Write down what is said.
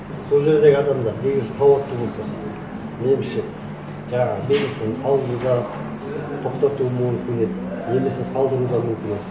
сол жердегі адамдар негізі сауатты болса меніңше жаңағы мельницаны салуын да тоқтатуы мүмкін еді немесе салдыру да мүмкін еді